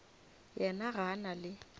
yena ga a na le